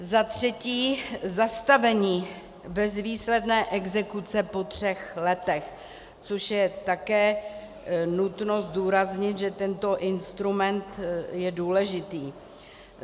Za třetí, zastavení bezvýsledné exekuce po třech letech, což je také nutno zdůraznit, že tento instrument je důležitý.